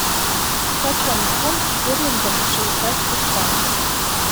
почем фунт стерлингов в швейцарских франках